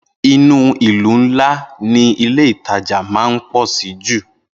Inú ìlú ńlá ni Ilé-ìtajà máa ń pọ̀ sí jù